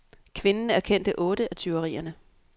Kvinden erkendte otte af tyverierne.